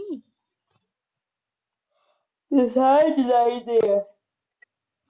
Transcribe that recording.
ਤੁਹੀ ਸਾਰੇ ਜੁਲਾਈ ਦੇ ਆ